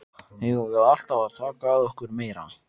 Eigum við alltaf að taka að okkur meira?